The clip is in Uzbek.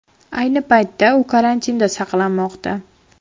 Ayni paytda u karantinda saqlanmoqda.